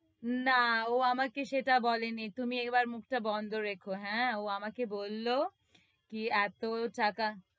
না, ও আমাকে সেটা বলেনি, তুমি একবার মুখটা বন্ধ রেখো, হ্য়াঁ? ও আমাকে বলল, কি, এতো টাকা,